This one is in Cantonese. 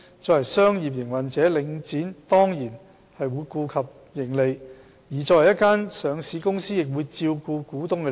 作為商業營運者，領展當然會顧及盈利，而作為一間上市公司，亦會照顧股東的利益。